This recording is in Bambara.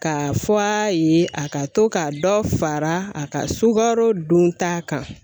Ka fɔ a ye a ka to ka dɔ fara a ka sukaro don ta kan.